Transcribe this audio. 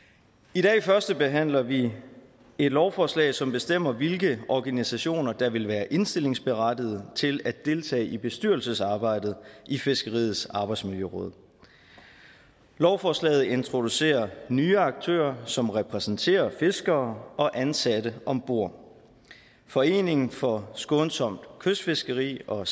i dag førstebehandler vi et lovforslag som bestemmer hvilke organisationer der vil være indstillingsberettiget til at deltage i bestyrelsesarbejdet i fiskeriets arbejdsmiljøråd lovforslaget introducerer nye aktører som repræsenterer fiskere og ansatte om bord foreningen for skånsomt kystfiskeri og